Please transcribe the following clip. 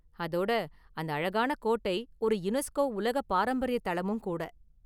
அதோட, அந்த அழகான கோட்டை ஒரு யுனெஸ்கோ உலக பாரம்பரிய தளமும் கூட.